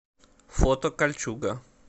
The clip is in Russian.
фото кальчуга